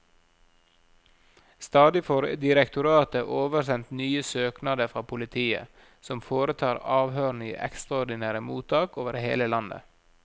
Stadig får direktoratet oversendt nye søknader fra politiet, som foretar avhørene i ekstraordinære mottak over hele landet.